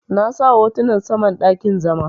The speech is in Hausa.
Na sa hotunan saman dakin zama.